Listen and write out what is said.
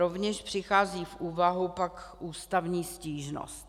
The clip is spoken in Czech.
Rovněž přichází v úvahu pak ústavní stížnost.